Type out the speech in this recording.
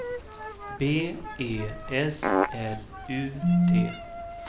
B E S L U T